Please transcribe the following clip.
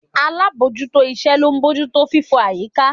Alábòójútó iṣẹ́ ló ń bójú tó fífọ̀ àyíká